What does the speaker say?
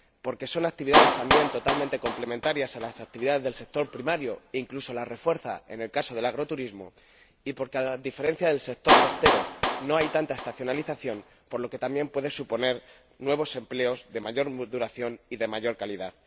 porque son actividades, también, totalmente complementarias de las actividades del sector primario, incluso las refuerzan en el caso del agroturismo, y porque, a diferencia del sector costero, no hay tanta estacionalización, por lo que también puede suponer nuevos empleos de mayor duración y de mayor calidad.